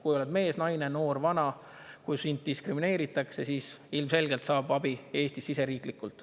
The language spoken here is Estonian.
Kui oled mees, naine, noor, vana, kui sind diskrimineeritakse, siis ilmselgelt saab abi Eestis siseriiklikult.